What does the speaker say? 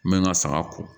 N bɛ n ka saga ko